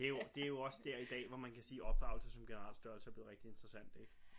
Det jo det jo også der i dag hvor man kan sige opdragelse som generel størrelse er blevet rigtig interessant ik